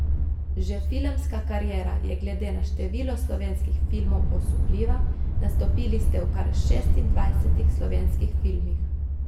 Že filmska kariera je glede na število slovenskih filmov osupljiva, nastopili ste v kar šestindvajsetih slovenskih filmih.